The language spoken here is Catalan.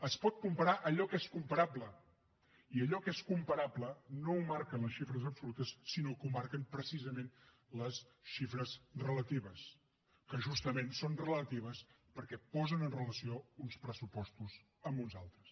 es pot comparar allò que és comparable i allò que és comparable no ho marquen les xifres absolutes sinó que ho marquen precisament les xifres relatives que justament són relatives perquè posen amb relació uns pressupostos amb uns altres